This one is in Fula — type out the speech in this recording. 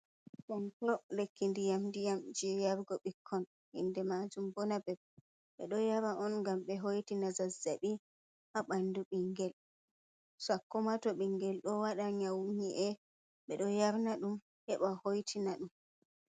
Do'o ɗum lekki ndiyam diyam jey yarngo ɓikkon, ndaa inde maajum boo na beb, ɓe ɗo yara on ngam ɓe hoitina zazzaɓi haa ɓanndu ɓinngel, sakko ma to ɓinngel ɗo waɗa nyawu nyii’e, ɓe ɗo yarna dum heɓa hoitina ɗum.